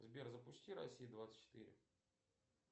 сбер запусти россия двадцать четыре